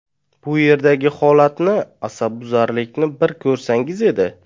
Bu yerdagi holatni, asabbuzarlikni bir ko‘rsangiz edi.